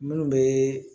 Minnu bɛ